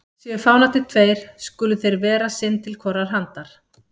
Séu fánarnir tveir, skulu þeir vera sinn til hvorrar handar.